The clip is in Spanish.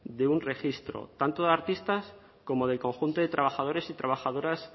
de un registro tanto de artistas como del conjunto de trabajadores y trabajadoras